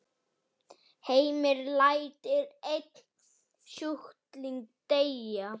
Heimir: Lætur einn sjúkling deyja?